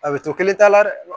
A bɛ to kelen t'a la dɛ